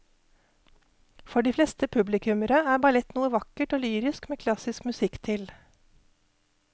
For de fleste publikummere er ballett noe vakkert og lyrisk med klassisk musikk til.